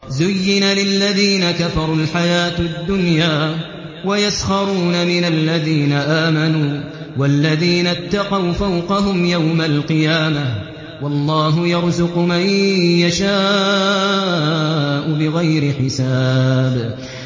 زُيِّنَ لِلَّذِينَ كَفَرُوا الْحَيَاةُ الدُّنْيَا وَيَسْخَرُونَ مِنَ الَّذِينَ آمَنُوا ۘ وَالَّذِينَ اتَّقَوْا فَوْقَهُمْ يَوْمَ الْقِيَامَةِ ۗ وَاللَّهُ يَرْزُقُ مَن يَشَاءُ بِغَيْرِ حِسَابٍ